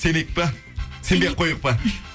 сенейік па сенбей ақ қояйық па